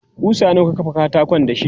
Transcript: kusa nawa ka kafa katakon dashi?